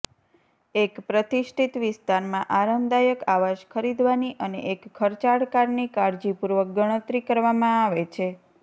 એક પ્રતિષ્ઠિત વિસ્તારમાં આરામદાયક આવાસ ખરીદવાની અને એક ખર્ચાળ કારની કાળજીપૂર્વક ગણતરી કરવામાં આવે છે